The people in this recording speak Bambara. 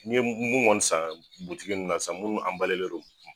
N ye mun kɔni san butigi na san munnu len don.